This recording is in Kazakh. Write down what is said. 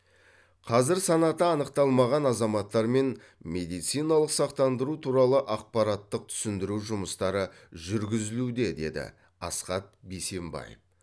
қазір санаты анықталмаған азаматтармен медициналық сақтандыру туралы ақпараттық түсіндіру жұмыстары жүргізілуде деді асхат бейсенбаев